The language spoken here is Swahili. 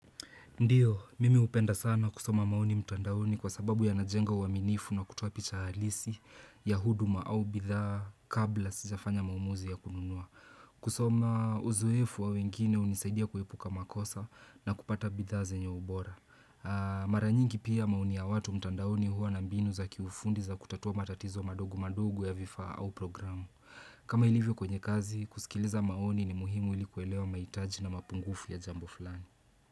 Ndiyo, mimi hupenda sana kusoma maoni mtandaoni kwa sababu yanajenga uaminifu na kutuopicha halisi ya huduma au bidhaa kabla sijafanya maamuzi ya kununua. Kusoma, uzoefu wa wengine hunisaidia kuepuka makosa na kupata bidhaa zenye ubora. Mara nyingi pia maoni ya watu mtandaoni huwa na mbinu za kiufundi za kutatua matatizo madogu madogu ya vifaa au programu. Kama ilivyo kwenye kazi, kusikiliza maoni ni muhimu ili kuelewa mahitaji na mapungufu ya jambo fulani.